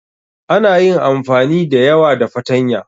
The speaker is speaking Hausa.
Ana yin amfani da yawa da fatanya.